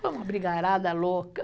Foi uma brigarada louca.